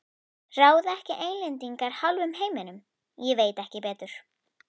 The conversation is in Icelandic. Ráða ekki Englendingar hálfum heiminum, ég veit ekki betur.